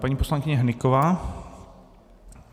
Paní poslankyně Hnyková.